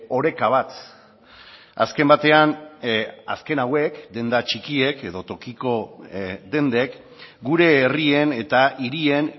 oreka bat azken batean azken hauek denda txikiek edo tokiko dendek gure herrien eta hirien